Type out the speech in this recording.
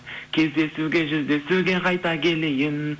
кездесуге жүздесуге қайта келейін